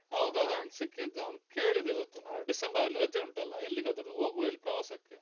ಹೌದೌದು ಅವ್ನು ಸಿಕ್ಕಿದ್ದ ಅವ್ನು ಕೇಳಿದ ಇವತ್ತು ನಾಳ್ದು ಡಿಸೆಂಬರ್ ಅಲ್ಲಿ ರಜೆ ಉಂಟಲ್ಲ ಎಲ್ಲಿಗಾದ್ರು ಹೋಗುವ ಹೇಳಿ ಪ್ರವಾಸಕ್ಕೆ.